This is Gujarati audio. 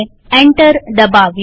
એન્ટર દબાવીએ